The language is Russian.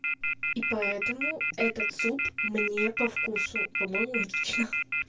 и поэтому этот суп мне по вкусу по-моему логично